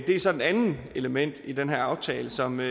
er så et andet element i den her aftale som vi